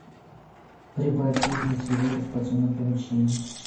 прибавь звук на телевизоре в подсобном помещении